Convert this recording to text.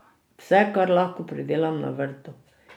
Vse, kar lahko, pridelam na vrtu.